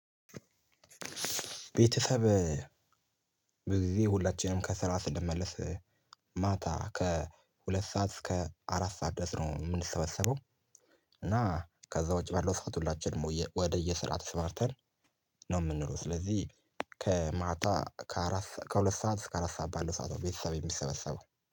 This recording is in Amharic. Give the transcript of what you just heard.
ቤተሰብ ብዙ ጊዜ ሁላችንም ከስራ ስንመለስ ማታ ከሁለት ሰዓት እስከ አራት ሰዓት ድረስ ነው የምንሰበሰበው። እና ከዛ ውጪ ባለው ሰዓት ሁላችንም ወደየስራ ተሰማርተን ነው የምንውል። ስለዚህ ከማታ ከአራት ከሁለት ሰዓት እስከ አራት ሰዓት ባለው ሰዓት ነው ቤተሰብ የሚሰበሰበው